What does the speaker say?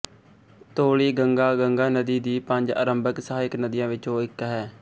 ਧੋਲੀ ਗੰਗਾ ਗੰਗਾ ਨਦੀ ਦੀ ਪੰਜ ਆਰੰਭਕ ਸਹਾਇਕ ਨਦੀਆਂ ਵਿੱਚੋਂ ਇੱਕ ਹੈ